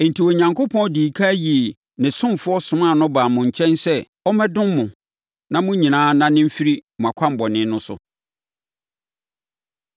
Enti, Onyankopɔn dii ɛkan yii ne ɔsomfoɔ somaa no baa mo nkyɛn sɛ ɔmmɛdom mo na mo nyinaa nnane mfiri mo akwammɔne no so.”